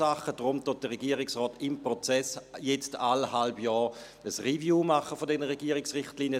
Deshalb macht der Regierungsrat im Prozess jetzt jedes halbe Jahr eine Review dieser Regierungsrichtlinien.